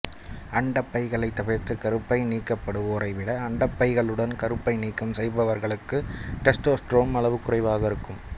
அண்டப்பைகளை தவிர்த்து கருப்பை நீக்கப்படுவோரைவிட அண்டப்பைகளுடன் கருப்பை நீக்கம் செய்தவர்களுக்கு டெஸ்டாஸ்டெரான் அளவு குறைவாக இருக்கும்